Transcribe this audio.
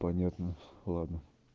понятно ладно